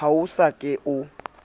ha o so ka o